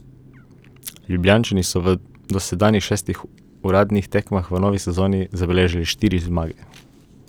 Ljubljančani so v dosedanjih šestih uradnih tekmah v novi sezoni zabeležili štiri zmage.